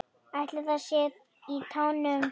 Ætli það sé í tánum?